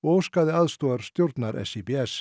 óskaði aðstoðar stjórnar